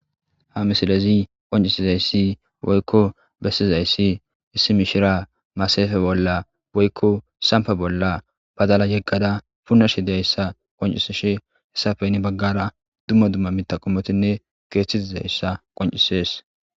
ha misilezi qoncisizayssi woykko bessizayssi issi mishira masafe bolla woykko sampa bolla badala yeggada punashi dayssa qoncisishe hessafeyni baggara dumma dumma mitaqomotinne geeththitizayssa qoncisees